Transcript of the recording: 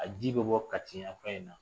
A ji bɛ bɔ Kati yan fan in na